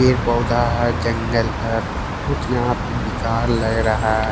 ये पौधा है जंगल है कुछ यहां पे बेकार लग रहा है।